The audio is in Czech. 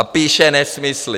A píše nesmysly.